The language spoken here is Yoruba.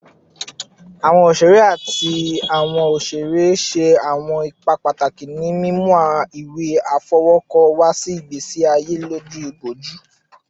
Awọn oṣere ati awọn oṣere ṣe awọn ipa pataki ni mimu awọn iwe afọwọkọ wa si igbesi aye loju iboju